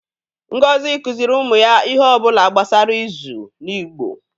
Ngozi kụziri ụmụ ya ihe ọ bụla gbasara izu n’Igbo.